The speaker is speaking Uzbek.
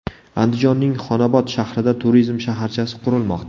Andijonning Xonobod shahrida turizm shaharchasi qurilmoqda.